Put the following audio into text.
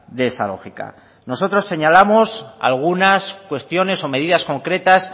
de esa lógica nosotros señalamos algunas cuestiones o medidas concretas